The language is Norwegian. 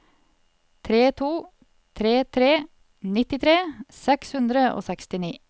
tre to tre tre nittitre seks hundre og sekstini